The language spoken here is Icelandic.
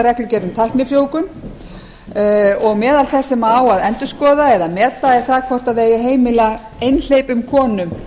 reglugerð um tæknifrjóvgun og meðal þess sem á að endurskoða eða meta er það hvort það eigi að heimila einhleypum konum